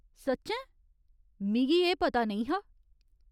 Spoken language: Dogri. सच्चैं? मिगी एह् पता नेईं हा !